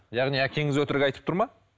яғни әкеңіз өтірік айтып тұр ма